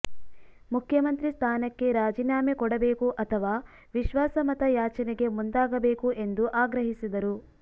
ಮುಖ್ಯಮಂತ್ರಿ ಸ್ಥಾನಕ್ಕೆ ರಾಜೀನಾಮೆ ಕೊಡಬೇಕು ಅಥವಾ ವಿಶ್ವಾಸಮತ ಯಾಚನೆಗೆ ಮುಂದಾಗಬೇಕು ಎಂದು ಆಗ್ರಹಿಸಿದರು